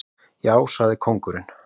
Já, sagði kóngurinn.